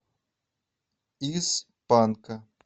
из панка